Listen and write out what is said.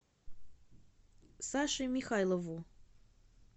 саше михайлову